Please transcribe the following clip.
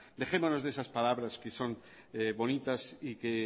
dejémonos de esas palabras que son bonitas y que